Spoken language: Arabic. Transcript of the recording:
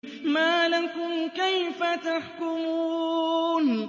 مَا لَكُمْ كَيْفَ تَحْكُمُونَ